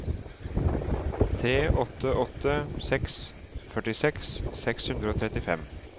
tre åtte åtte seks førtiseks seks hundre og trettifem